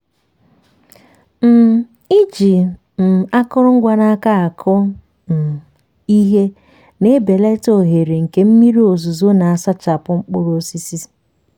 um iji um akụrụngwa n’aka akụ um ihe na-ebelata ohere nke mmiri ozuzo na-asachapụ mkpụrụ osisi.